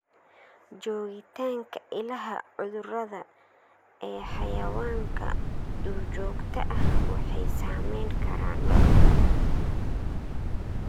Joogitaanka ilaha cudurrada ee xayawaanka duurjoogta ah waxay saameyn karaan lo'da.